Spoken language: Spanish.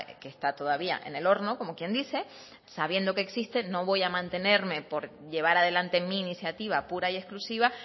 que está todavía en el horno como quien dice sabiendo que existe no voy a mantenerme por llevar adelante mi iniciativa pura y exclusiva